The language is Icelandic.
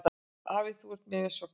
Afi, þú ert mér svo kær.